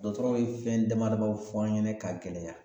Dɔkɔtɔrɔw ye fɛn dama damadɔ fɔ an ɲɛna ka gɛlɛya